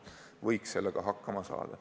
Võiks sellega hakkama saada.